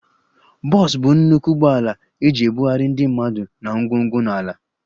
Bus bụ nnukwu ụgbọala eji ebugharị ndị mmadụ na ngwongwo na ala